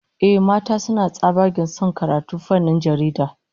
Ehh, mata suna tsabagen son karatun fannin jarida